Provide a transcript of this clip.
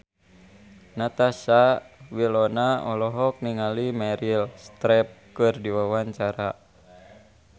Natasha Wilona olohok ningali Meryl Streep keur diwawancara